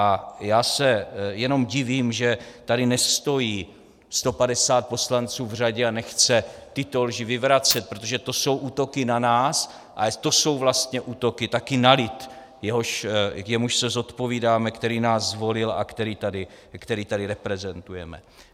A já se jenom divím, že tady nestojí 150 poslanců v řadě a nechce tyto lži vyvracet, protože to jsou útoky na nás a to jsou vlastně útoky taky na lid, jemuž se zodpovídáme, který nás zvolil a který tady reprezentujeme.